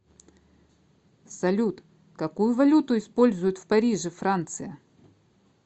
салют какую валюту используют в париже франция